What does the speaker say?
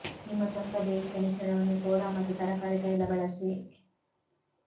ನಿಮ್ಮ ಸ್ವಂತ ಬೇಯಿಸಿದ ಮಿಶ್ರಣವನ್ನು ಸೋಡಾ ಮತ್ತು ತರಕಾರಿ ತೈಲ ಬಳಸಿ